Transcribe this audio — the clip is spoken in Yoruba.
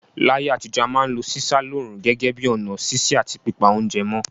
Láyé àtijọ́, a ma n lo sísá lóòrùn gẹ́gẹ́ bi ọ̀nà sise àti pípa ounje mó